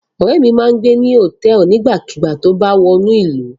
Ọrẹ mi má n gbe ni hotẹẹli nigbakugba ti o ba wa wọnu ilu